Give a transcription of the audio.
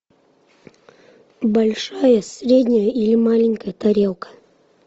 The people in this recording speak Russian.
большая средняя или маленькая тарелка